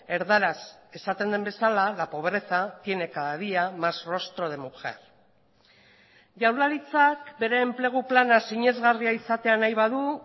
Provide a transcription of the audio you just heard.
erdaraz esaten den bezala la pobreza tiene cada día más rostro de mujer jaurlaritzak bere enplegu plana sinesgarria izatea nahi badu